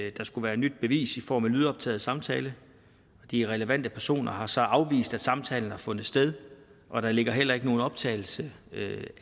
at der skulle være et nyt bevis i form af en lydoptaget samtale de relevante personer har så afvist at samtalen har fundet sted og der ligger heller ikke nogen optagelse